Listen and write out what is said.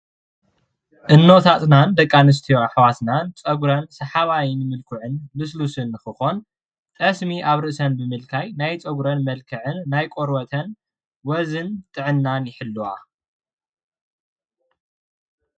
እኖታትናን ደቂ ኣንስትዮ ኣሕዋትናን ፀጉረን ሰሓባይን ልስልሱን ንክኾን ጠስሚ ኣብ ርእሰን ብምልካይ ናይ ፀጉረን መልክዕን ናይ ቆርበተን ወዝን ጥዕናን ይሕልዋ፡፡